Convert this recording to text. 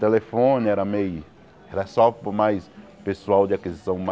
Telefone era meio era só para o mais pessoal de aquisição